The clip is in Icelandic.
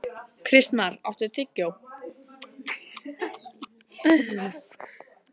Kristmar, áttu tyggjó?